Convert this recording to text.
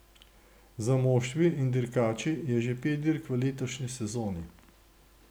Za moštvi in dirkači je že pet dirk v letošnji sezoni.